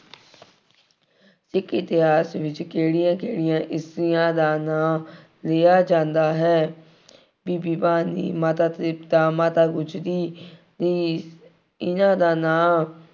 ਸਿੱਖ ਇਤਿਹਾਸ ਵਿੱਚ ਕਿਹੜੀਆਂ ਕਿਹੜੀਆਂ ਇਸਤਰੀਆਂ ਦਾ ਨਾਂ ਲਿਆ ਜਾਂਦਾ ਹੈ। ਬੀਬੀ ਭਾਨੀ, ਮਾਤਾ ਤ੍ਰਿਪਤਾ, ਮਾਤਾ ਗੁਜ਼ਰੀ, ਈ ਇਹਨਾ ਦਾ ਨਾਂ